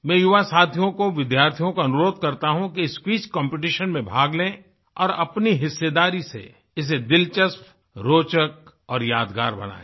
मैं युवा साथियों को विद्यार्थियों को अनुरोध करता हूँ कि इस क्विज कॉम्पिटिशन में भाग लें और अपनी हिस्सेदारी से इसे दिलचस्प रोचक और यादगार बनाएँ